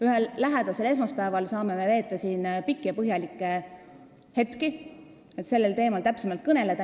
Ühel varsti saabuval esmaspäeval saame me siin pikalt aega veeta, et sellel teemal täpsemalt kõneleda.